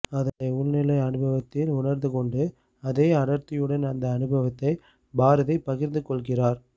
அதை உள்நிலை அனுபவத்தில் உணர்ந்துகொண்டு அதே அடர்த்தியுடன் அந்த அனுபவத்தை பாரதி பகிர்ந்து கொள்கிறார்